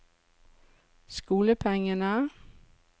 skolepengene